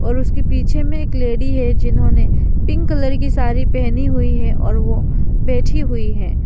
और उसके पीछे में एक लेडी है जिन्होंने पिंक कलर की साड़ी पहनी हुई है और वो बैठी हुई हैं।